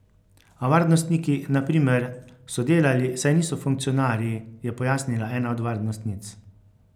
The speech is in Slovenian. A varnostniki, na primer, so delali, saj niso funkcionarji, je pojasnila ena od varnostnic.